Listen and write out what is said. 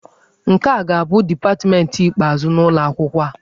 Nke a ga-abụ dipatmentị ikpeazụ n'ụlọ akwụkwọ a.